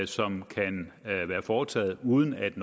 som kan have været foretaget uden at